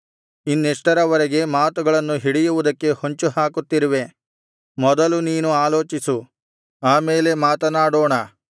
ಇನ್ನೆಷ್ಟರವರೆಗೆ ಮಾತುಗಳನ್ನು ಹಿಡಿಯುವುದಕ್ಕೆ ಹೊಂಚು ಹಾಕುತ್ತಿರುವೆ ಮೊದಲು ನೀನು ಆಲೋಚಿಸು ಆ ಮೇಲೆ ಮಾತನಾಡೋಣ